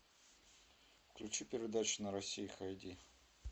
включи передачи на россии хай ди